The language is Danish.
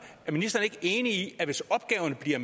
er ministeren ikke enig i at hvis opgaverne bliver